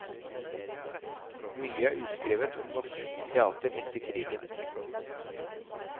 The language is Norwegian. Mye er uskrevet om norsk teater etter krigen.